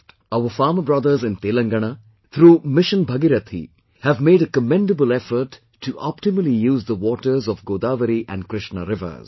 Our farmer brothers in Telangana, through 'Mission Bhagirathi' have made a commendable effort to optimally use the waters of Godavari and Krishna rivers